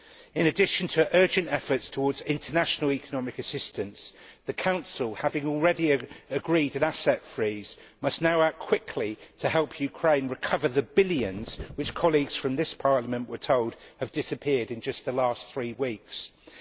In addition to urgent efforts towards international economic assistance, the Council, having already agreed an asset freeze, must now act quickly to help Ukraine recover the billions which, as colleagues from this House were told, have disappeared in the past three weeks alone.